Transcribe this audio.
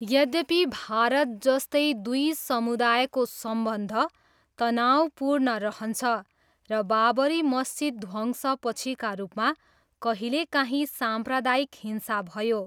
यद्यपि, भारत जस्तै, दुई समुदायको सम्बन्ध तनावपूर्ण रहन्छ र बाबरी मस्जिद ध्वंस पछिका रूपमा कहिलेकाहीँ साम्प्रदायिक हिंसा भयो।